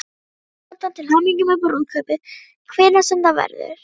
Kæri Jónatan, til hamingju með brúðkaupið, hvenær sem það verður.